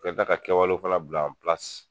Bɛ da ka kɛwale kalaw bila an pilasi